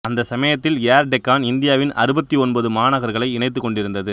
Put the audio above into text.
அந்த சமயத்தில் ஏர் டெக்கான் இந்தியாவின் அறுபத்து ஒன்பது மாநகர்களை இணைத்துக் கொண்டிருந்தது